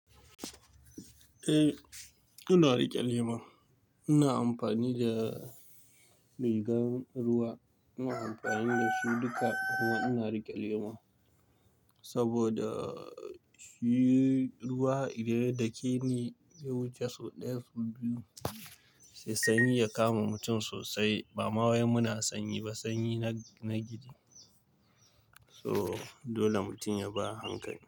Eh, ina rike lema. Ina amfani da rigan ruwa, ina amfani da su duka kuma ina rike lema. Saboda shi ruwa idan ya dake ni, ya wuce sau ɗaya sau biyu sai sanyi ya kama mutum sosai. Ba ma wai muna sanyi ba, sanyi na gidi. So dole mutum ya bi a hankali.